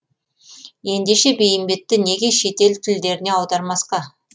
ендеше бейімбетті неге шет ел тілдеріне аудармасқа